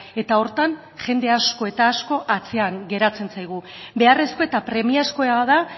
eta horretan jende asko eta asko atzean geratzen zaigu beharrezko eta premiazkoa da